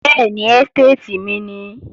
Bẹ́ẹ̀ni, ẹ́stéètì mi nìí